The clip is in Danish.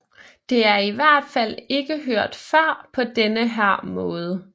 Det er i hvert fald ikke hørt før på denne her måde